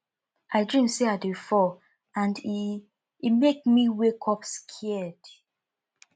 i dream say i dey fall and e e make me wake up scared